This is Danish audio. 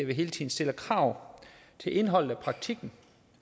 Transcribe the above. vi hele tiden stiller krav til indholdet af praktikken